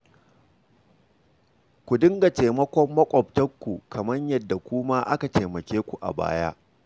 Ku dinga taimakon maƙwabtanku kamar yadda ku ma aka taimake ku a baya